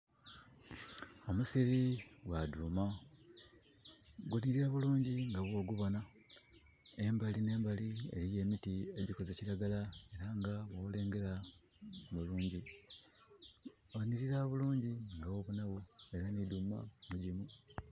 Omusiri gwa dhuuma gunhirira bulungi nga bwo gubonha. Embali nhe mbali eriyo emiti egikoze kiragala era nga bwolengela bulungi. Ghanhirira bulungi nga bwobonhagho era nhi dhuuma mugimu.